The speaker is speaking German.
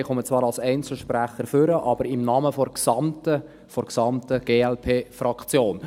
Ich komme zwar als Einzelsprecher nach vorne, aber im Namen der gesamten Glp-Fraktion.